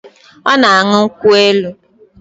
Ọ na-aṅụ nkwụ elu